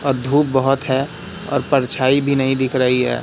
अ धूप बहोत है और परछाई भी नहीं दिख रही है।